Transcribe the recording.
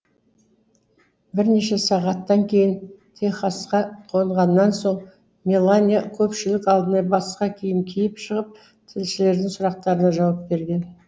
бірнеше сағаттан кейін техасқа қонғаннан соң мелания көпшілік алдына басқа киім киіп шығып тілшілердің сұрақтарына жауап берген